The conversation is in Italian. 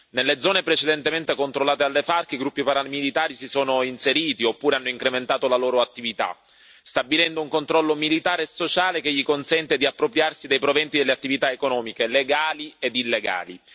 Nelle zone precedentemente controllate dalle FARC i gruppi paramilitari si sono inseriti oppure hanno incrementato la loro attività, stabilendo un controllo militare e sociale che gli consente di appropriarsi dei proventi delle attività economiche legali ed illegali.